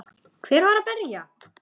Hver var að berja?